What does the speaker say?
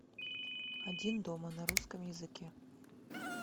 один дома на русском языке